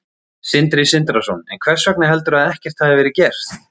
Sindri Sindrason: En hvers vegna heldurðu að ekkert hafi verið gert?